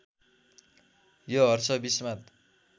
यो हर्ष विस्मात